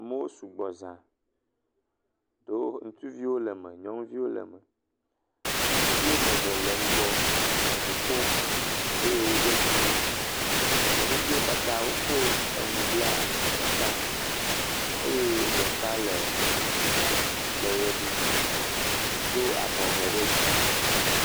Amewo sugbɔ zã. Ɖewo ŋutsuviwo le eme, nyɔnɔnuviwo le eme. Ŋutsuvi woame eve le ŋgɔ le ŋu ƒom eye woɖiɔ kuku. Nyɔnuviwo katã wokɔ enu bla akɔta, eye ɖeka le ŋgɔ le ʋe ɖum, do abɔ ve ɖe dzi.